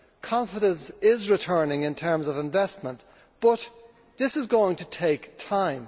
Confidence is returning in terms of investment, but this is going to take time.